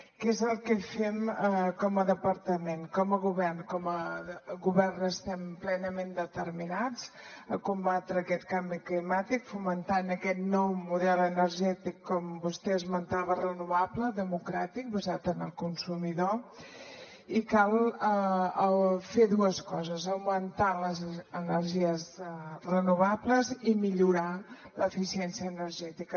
què és el que fem com a departament com a govern com a govern estem plenament determinats a combatre aquest canvi climàtic fomentant aquest nou model energètic com vostè esmentava renovable democràtic basat en el consumidor i cal fer dues coses augmentar les energies renovables i millorar l’eficiència energètica